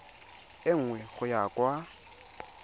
e nngwe go ya kwa